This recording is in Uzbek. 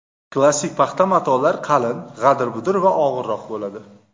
Klassik paxta matolar qalin, g‘adir-budir va og‘irroq bo‘ladi.